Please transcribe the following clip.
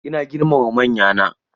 Ina girmama manyana.